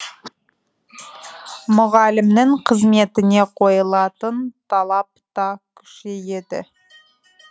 мұғалімнің қызметіне қойылатын талап та күшейеді